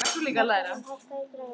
Katharina, hækkaðu í græjunum.